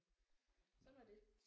Sådan var det